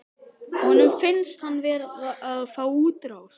Honum finnst hann verða að fá útrás.